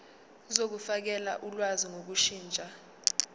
zokufakela ulwazi ngokushintsha